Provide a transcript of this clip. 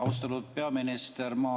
Austatud peaminister!